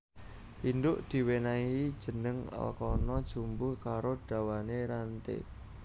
Indhuk diwènèhi jeneng alkana jumbuh karo dawané ranté